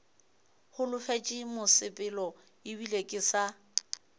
holofetše mosepelo ebile ke sa